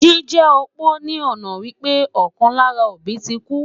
Jíjẹ́ opó ní ọ̀nà wípé ọ̀kan lára òbí ti kú